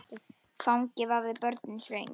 Fangi vafði börnin svöng.